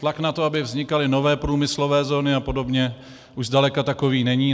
Tlak na to, aby vznikaly nové průmyslové zóny a podobně, už zdaleka takový není.